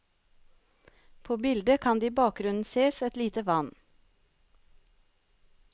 På bildet kan det i bakgrunnen sees et lite vann.